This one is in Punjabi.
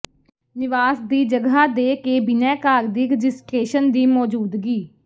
ਨਿਵਾਸ ਦੀ ਜਗ੍ਹਾ ਦੇ ਕੇ ਬਿਨੈਕਾਰ ਦੀ ਰਜਿਸਟਰੇਸ਼ਨ ਦੀ ਮੌਜੂਦਗੀ